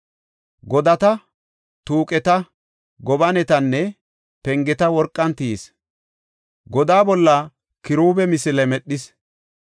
Godata, tuuqeta, gobanetanne pengeta worqan tiyis; godaa bolla kiruube misile medhis.